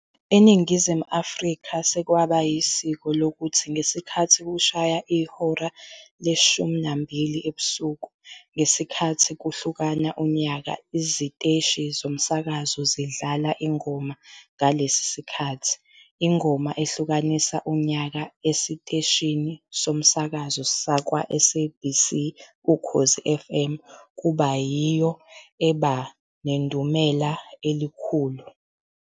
ENingizimu Afrika sekwaba yisiko lokuthi ngesikhathi kushaya ihora le-00-00 ngesikhathi kushlukana unyaka iziteshi zomsakazo zidlale ingoma ngalesi sikhathi. Ingoma ehlukanisa unyaka esiteshini somasakazo sakwa-SABC, Ukhozi Fm kuba yiyo eba nedumela elikhulu.